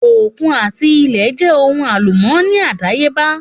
Òkun àti ilẹ̀ jẹ́ ohun àlùmọ́ọ́nì àdáyébá